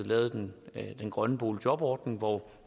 lavet den grønne boligjobordning hvor